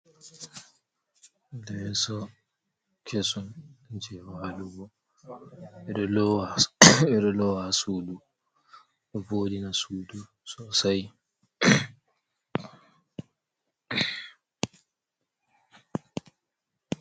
Leeso, kesum jei waalugo, ɓe ɗo lowa ha suudu ɗo vooɗina suudu sosai.